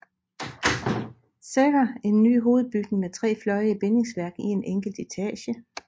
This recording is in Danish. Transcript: Secher en ny hovedbygning med tre fløje i bindingsværk i en enkelt etage